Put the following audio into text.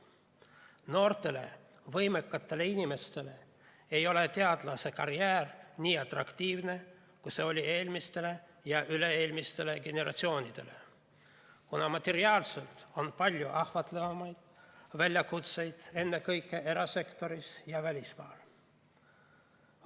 Noortele võimekatele inimestele ei ole teadlasekarjäär nii atraktiivne, kui see oli eelmistele ja üle-eelmistele generatsioonidele, kuna materiaalselt on palju ahvatlevamaid väljakutseid, ennekõike erasektoris ja välismaal.